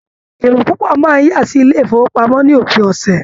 Èrò pupo máa n yà sínú ilé ifowopamọ ní òpin ọsẹ.